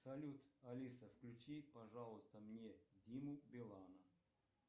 салют алиса включи пожалуйста мне диму билана